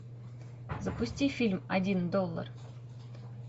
запусти фильм один доллар